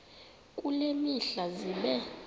kule mihla zibe